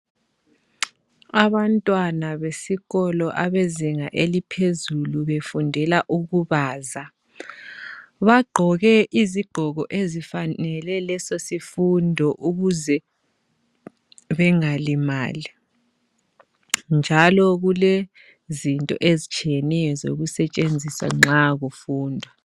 Abantwana besikolo abezinga eliphezulu befundela ukubaza, bagqoke izigqoko ezifanele leso sifundo ukuze bengalimali njalo kulezinto ezitshiyeneyo zokusetshenziswa nxa kufundwa.